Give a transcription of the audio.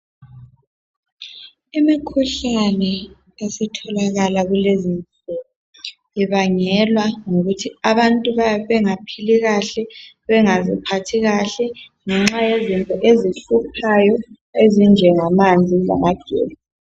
Imikhuhlane esitholakala kulezi insuku ibangelwa yikuthi abantu bayabe bengaphili kahle ,bengaziphathi kahle ngenxa yezinto ezihluphayo ezinjengamanzi lamagetsi.